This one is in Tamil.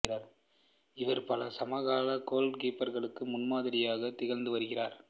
இவர் பல சமகால கோல் கீப்பர்களுக்கு முன்மாதிரியாக திகழ்ந்து வருகிறார்